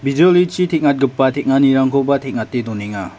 bijolichi teng·atgipa teng·anirangkoba teng·ate donenga.